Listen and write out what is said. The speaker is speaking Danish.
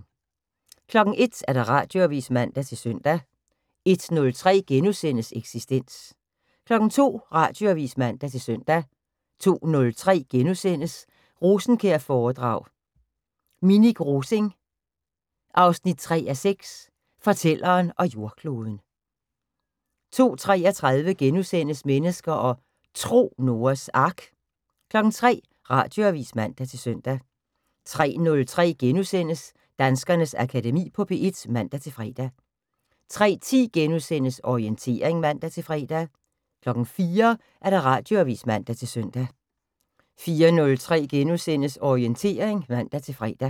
01:00: Radioavis (man-søn) 01:03: Eksistens * 02:00: Radioavis (man-søn) 02:03: Rosenkjær-foredrag: Minik Rosing 3:6 - Fortælleren og jordkloden * 02:33: Mennesker og Tro: Noas Ark * 03:00: Radioavis (man-søn) 03:03: Danskernes Akademi på P1 *(man-fre) 03:10: Orientering *(man-fre) 04:00: Radioavis (man-søn) 04:03: Orientering *(man-fre)